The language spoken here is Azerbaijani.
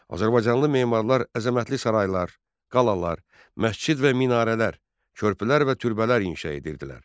Azərbaycanlı memarlar əzəmətli saraylar, qalalar, məscid və minarələr, körpülər və türbələr inşa edirdilər.